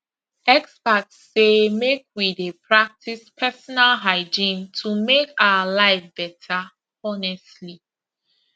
experts say make we dey practice personal hygiene to make our life better honestly